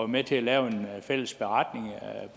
med til at lave en fælles beretning